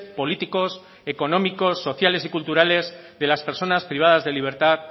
políticos económicos sociales y culturales de las personas privadas de libertad